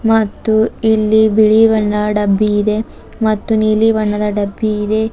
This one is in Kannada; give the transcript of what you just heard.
ಮತ್ತು ಇಲ್ಲಿ ಬಣ್ಣ ಡಬ್ಬಿ ಇದೆ ಮತ್ತು ನೀಲಿ ಬಣ್ಣದ ಡಬ್ಬಿ ಇದೆ.